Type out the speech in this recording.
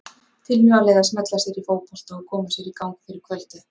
Tilvalið að smella sér í fótbolta og koma sér í gang fyrir kvöldið.